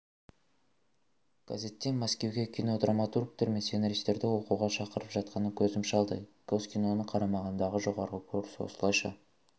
газеттен мәскеуге кинодраматургтер мен сценаристерді оқуға шақырып жатқанын көзім шалды госкиноның қарамағындағы жоғарғы курс осылайша